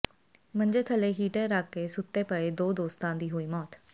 ਮੰਜੇ ਥੱਲੇ ਹੀਟਰ ਰੱਖ ਕੇ ਸੁੱਤੇ ਪਏ ਦੋ ਦੋਸਤਾਂ ਦੀ ਹੋਈ ਮੌਤ